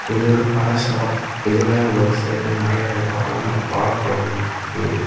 இது ஒரு பழ ஷாப் இதுல ஒரு சைடு நெறைய வாழ வாழ பழங்கள் இருக்குது.